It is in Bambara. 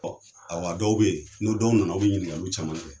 Ɔ, awa dɔw bɛ yen, nin dɔw nana olu bɛ ɲininkaliw caman kɛ.